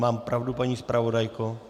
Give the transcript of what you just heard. Mám pravdu, paní zpravodajko?